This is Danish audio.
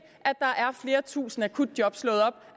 at der er flere tusinde akutjob slået op